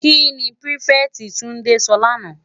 Ki ni pirifèti Tunde sò làná?